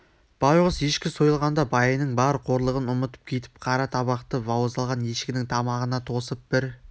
байғұс ешкі сойылғанда байының бар қорлығын ұмытып кетіп қара табақты бауыздалған ешкінің тамағына тосып бір